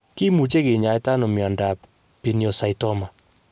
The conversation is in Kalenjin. Kimuche kinyaita ano miondsap pineocytoma.